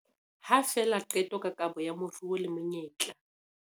Ha fela qeto ka kabo ya moruo le menyetla